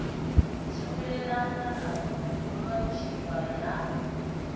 tshimbilelane na u lontshiwa ha